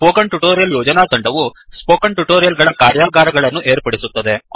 spoken tutorial ಯೋಜನಾ ತಂಡವು spoken tutorial ಗಳ ಕಾರ್ಯಾಗಾರಗಳನ್ನು ಏರ್ಪಡಿಸುತ್ತದೆ